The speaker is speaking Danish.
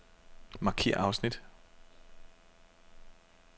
Markér afsnit.